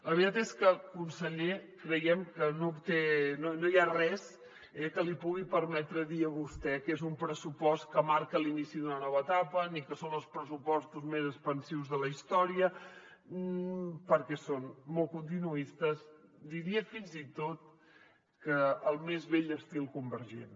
la veritat és que conseller creiem que no hi ha res que li pugui permetre dir a vostè que és un pressupost que marca l’inici d’una nova etapa ni que són els pressupostos més expansius de la història perquè són molt continuistes diria fins i tot que al més vell estil convergent